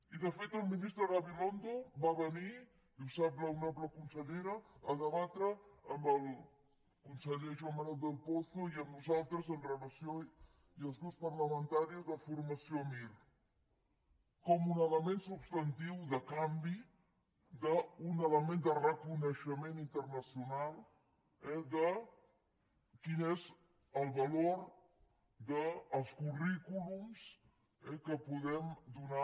i de fet el ministre gabilondo va venir i ho sap l’honorable consellera a debatre amb el conseller joan manuel del pozo i amb nosaltres i els grups parlamentaris amb relació a la formació mir com un element substantiu de canvi d’un element de reconeixement internacional de quin és el valor dels currículums que podem donar